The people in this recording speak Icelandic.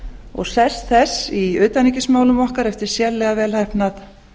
og sess þess í utanríkismálum okkar eftir sérlega vel heppnað